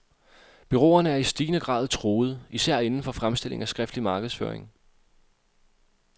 Bureauerne er i stigende grad truet især inden for fremstilling af skriftlig markedsføring.